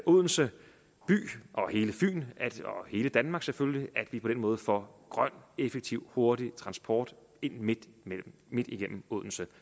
odense by og hele fyn og hele danmark selvfølgelig at vi på den måde får grøn effektiv hurtig transport ind midt igennem odense